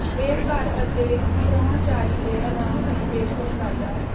ਇਹ ਘਰ ਅਤੇ ਪ੍ਰਾਹੁਣਚਾਰੀ ਦੇ ਆਰਾਮ ਦੀ ਪੇਸ਼ਕਸ਼ ਕਰਦਾ ਹੈ